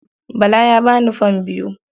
Bala ya ba ni fam biyu.